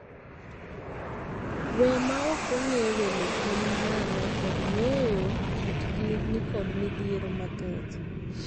Wee ma ok ong'ee welo gin ng'aano kod ng'eeyo kit gi ni kod midhiero mathoth.